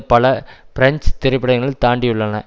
பல பிரெஞ்சு திரைப்படங்கள் தாண்டியுள்ளன